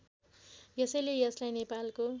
यसैले यसलाई नेपालको